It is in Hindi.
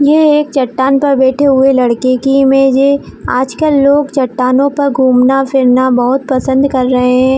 यह एक चट्टान पर बैठे हुए लड़के की इमेज है आजकल लोग चट्टानों पर घूमना फिरना बहुत पसंद कर रहे हैं।